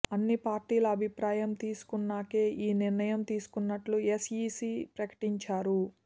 అన్ని పార్టీల అభిప్రాయం తీసుకున్నాకే ఈ నిర్ణయం తీసుకున్నట్లు ఎస్ఈసీ ప్రకటించారు